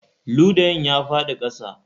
Ludayin ya faɗi a ƙasa